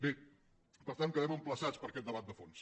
bé per tant quedem emplaçats per a aquest debat de fons